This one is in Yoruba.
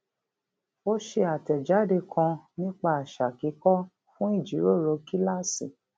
ó ṣe àtẹjáde kan nípa àṣà kíkọ fún ìjíròrò kíláàsì